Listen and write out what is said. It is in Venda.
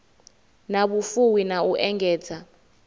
na vhufuwi na u engedza